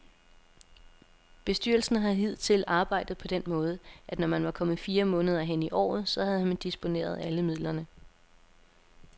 Bestyrelsen har hidtil arbejdet på den måde, at når man var kommet fire måneder hen i året, så havde man disponeret alle midlerne.